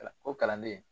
O kalanden